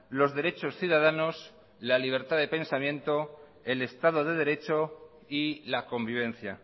los derechos ciudadanos la libertad de pensamiento el estado de derecho y la convivencia